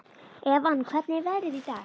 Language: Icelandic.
Evan, hvernig er veðrið í dag?